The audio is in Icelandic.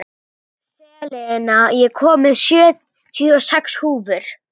Selina, ég kom með sjötíu og sex húfur!